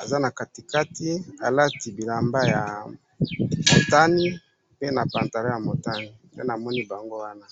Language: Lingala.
aza na kati kati alati bilamba ya motani pe na pantalon ya motani .nde namoni bango wana